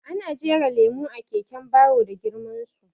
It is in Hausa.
Ana jera lemo a keken baro da girman su